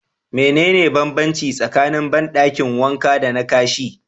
Mene ne banbanci tsakanin bandakin wanka dana Kashi?